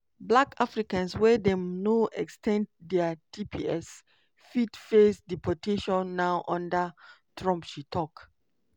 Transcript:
"black africans wey dem no ex ten d dia tps fit face deportation now under trump" she tok.